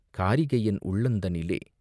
காரிகையென் உள்ளந்தனிலே..